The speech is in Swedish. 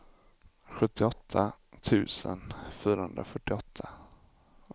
sjuttioåtta tusen fyrahundrafyrtioåtta